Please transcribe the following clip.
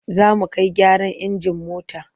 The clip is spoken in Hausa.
Za mu kai gyaran injin mota.